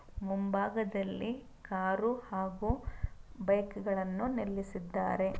ಮುಂಭಾಗದಲ್ಲಿ ಕಾರು ಹಾಗೂ ಬೈಕ್‌ ಗಳನ್ನು ನಿಲ್ಲಿಸಿದ್ದಾರೆ.